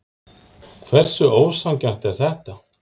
Hversu ósanngjarnt er þetta?